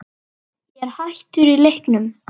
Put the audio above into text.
Ég er hættur í leiknum